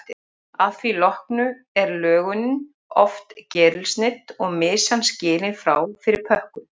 Að því loknu er lögunin oft gerilsneydd og mysan skilin frá fyrir pökkun.